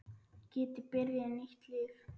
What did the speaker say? Geti byrjað nýtt líf.